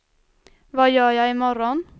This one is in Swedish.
vad gör jag imorgon